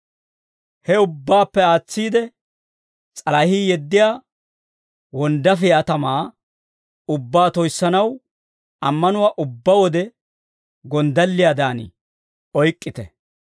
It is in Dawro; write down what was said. He ubbaappe aatsiide, s'alahii yeddiyaa wonddaafiyaa tamaa ubbaa toyissanaw, ammanuwaa ubbaa wode gonddalliyaadan oyk'k'ite.